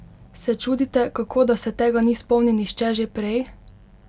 Se čudite, kako da se tega ni spomnil nihče že prej?